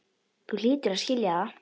Þú hlýtur að skilja það.